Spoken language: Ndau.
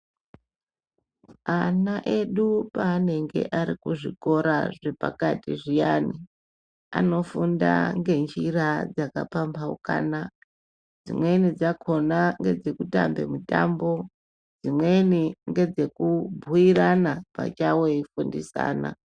Ana edu panenge arikuzvikora zvepakati zviyani anofunda ngenjira dzakapambaukana dzimweni dzachona ngedzekutambe mitambo, dzimweni ngedzekubhuirana oachawo eifundisana.